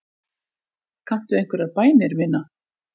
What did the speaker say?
Kanntu einhverjar bænir, vina?